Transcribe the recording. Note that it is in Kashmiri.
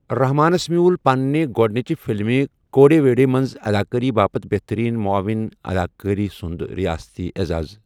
رحمانس میٛوٗل پنٛنہِ گۄڈنِچہِ فِلمہِ، كوُڈےوڈی منٛز اَداکٲری باپتھ بہتٔریٖن معوِن اَداکارٕ سُنٛد رِیٲستی عیزاز۔